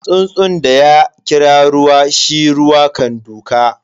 Tsuntsun da ya kira ruwa, shi ruwa kan duka.